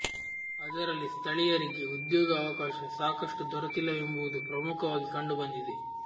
ಅದರಲ್ಲಿ ಸ್ಥಳೀಯರಿಗೆ ಉದ್ಯೋಗ ಅವಕಾಶ ಸಾಕಷ್ಟು ದೊರೆತಿಲ್ಲವೆಂಬುವುದು ಪ್ರಮುಖವಾಗಿ ಕಂಡು ಬಂದಿದೆ